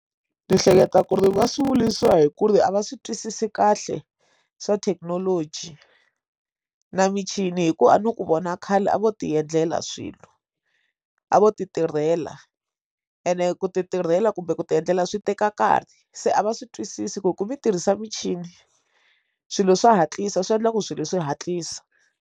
Ni hleketa ku ri va swi vuriwa hi ku ri a va swi twisisi kahle swa thekinoloji na michini hikuva a ni ku vona khale a vo ti endlela swilo a vo ti tirhela ene ku ti tirhela kumbe ku ti endlela swi teka nkarhi se a va swi twisisi ku ku mi tirhisa michini swilo swa hatlisa swi endla ku swilo swi hatlisa.